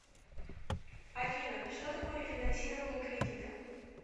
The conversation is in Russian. афина что такое рефинансирование кредита